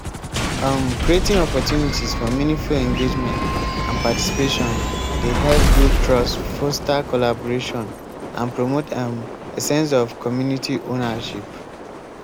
um creating opportunities for meaningful engagement and participation dey help build trust foster collaboration and promote um a sense of community owernership.